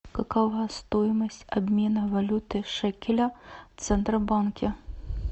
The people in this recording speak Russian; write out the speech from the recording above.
какова стоимость обмена валюты шекеля в центробанке